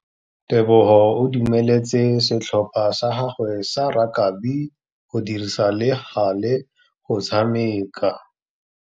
Tebogô o dumeletse setlhopha sa gagwe sa rakabi go dirisa le galê go tshameka.